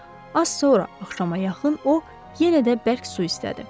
Az sonra axşama yaxın o yenə də bərk su istədi.